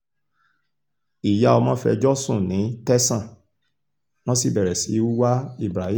ìyá ọmọ fẹjọ́ sùn ní tẹ̀sán wọ́n sì bẹ̀rẹ̀ sí í wá ibrahim